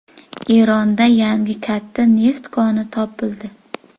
Eronda yangi katta neft koni topildi.